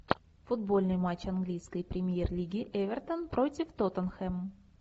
футбольный матч английской премьер лиги эвертон против тоттенхэм